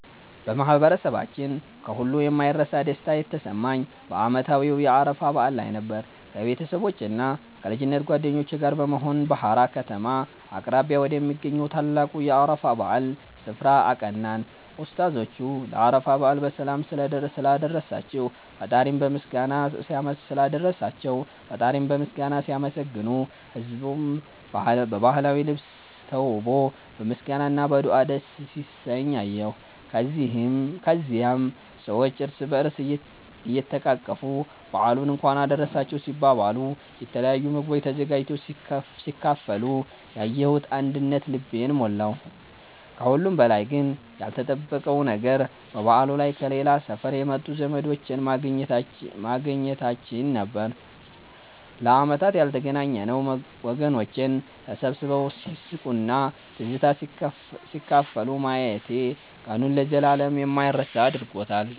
በማህበረሰባችን ከሁሉ የማይረሳ ደስታ የተሰማኝ በዓመታዊው የአረፋ በዓል ላይ ነበር። ከቤተሰቦቼና ከልጅነት ጓደኞቼ ጋር በመሆን በሃራ ከተማ አቅራቢያ ወደሚገኘው ታላቁ የአረፋ በዓል ስፍራ አቀናን። ኡስታዞቹ ለአረፋ በዓል በሰላም ስላደረሳቸው ፈጣሪን በምስጋና ሲያመሰግኑ፣ ህዝቡም በባህላዊ ልብስ ተውቦ በምስጋና እና በዱዓ ደስ ሲሰኝ አየሁ። ከዚያም ሰዎች እርስ በእርስ እየተቃቀፉ በዓሉን እንኳን አደረሳችሁ ሲባባሉ፣ የተለያዩ ምግቦች ተዘጋጅተው ሲካፈሉ ያየሁት አንድነት ልቤን ሞላው። ከሁሉም በላይ ግን ያልተጠበቀው ነገር በበዓሉ ላይ ከሌላ ሰፈር የመጡ ዘመዶቼን ማግኘታችን ነበር፤ ለዓመታት ያልተገናኘነው ወገኖቼን ተሰባስበው ሲስቁና ትዝታ ሲካፈሉ ማየቴ ቀኑን ለዘላለም የማይረሳ አድርጎታል።